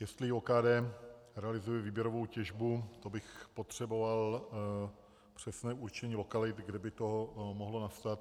Jestli OKD realizuje výběrovou těžbu, to bych potřeboval přesné určení lokalit, kde by to mohlo nastat.